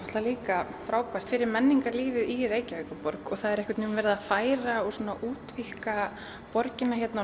líka frábært fyrir menningarlífið í Reykjavíkurborg og það er verið að færa og útvíkka borgina hérna á